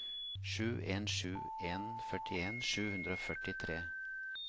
sju en sju en førtien sju hundre og førtitre